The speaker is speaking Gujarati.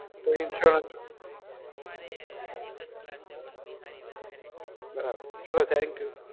તો ઇન્સ્યોરન્સ બરાબર ચલો thank you